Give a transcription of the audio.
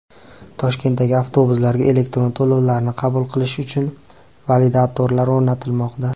Toshkentdagi avtobuslarga elektron to‘lovlarni qabul qilish uchun validatorlar o‘rnatilmoqda.